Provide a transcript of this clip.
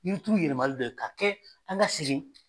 Yirituru yɛlɛmalen no k'a kɛ an ka segin.